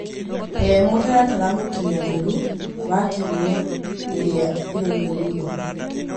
He mũtaratara mũkinyanĩru wa kiumia iria irũmĩrĩire.